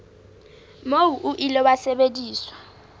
moo o ile wa sebediswa